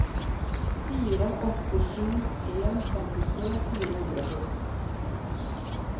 fire åtte sju en femtitre fire hundre og sytten